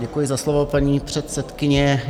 Děkuji za slovo, paní předsedkyně.